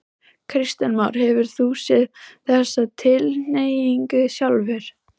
Kristján Már: Hefur þú séð þessa tilhneigingu sjálfur?